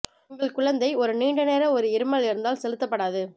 உங்கள் குழந்தை ஒரு நீண்ட நேரம் ஒரு இருமல் இருந்தால் செலுத்தப்படாது